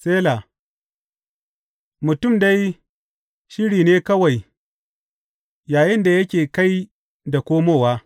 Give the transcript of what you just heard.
Sela Mutum dai shirim ne kawai yayinda yake kai da komowa.